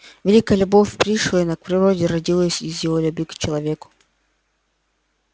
великая любовь пришвина к природе родилась из его любви к человеку